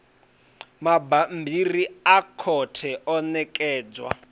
mabammbiri a khothe o ṋekedzwa